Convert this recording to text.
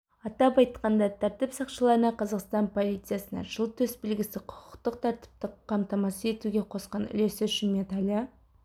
атап айтқанда тәртіп сақшыларына қазақстан полициясына жыл төсбелгісі құқықтық тәртіпті қамтамасыз етуге қосқан үлесі үшін медалі